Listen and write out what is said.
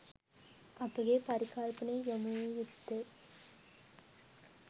අපගේ පරිකල්පනය යොමු විය යුත්තේ